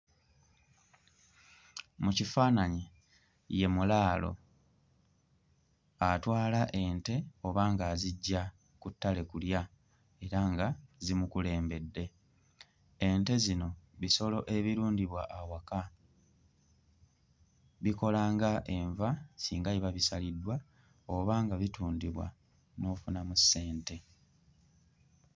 Mu kifaananyi ye mulaalo atwala ente oba ng'aziggya ku ttale kulya era nga zimukulembedde. Ente zino bisolo ebirundibwa awaka, bikola ng'enva singa biba bisaliddwa oba nga bitundibwa n'ofunamu ssente.